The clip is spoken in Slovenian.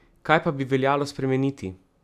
Kaj pa bi veljalo spremeniti?